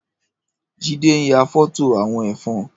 Jide n yà fọtó awọn ẹfọn